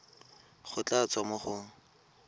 go tla tswa mo go